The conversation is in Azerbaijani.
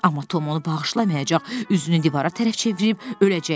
Amma Tom onu bağışlamayacaq, üzünü divara tərəf çevirib öləcək.